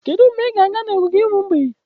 Kedu mgbe ị ga-aga n'ogige ụmụ mgbei?